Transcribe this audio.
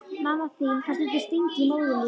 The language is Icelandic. Mamma þín fær stundum stingi í móðurlífið.